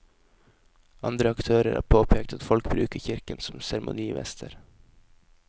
Andre aktører har påpekt at folk bruker kirken som seremonimester.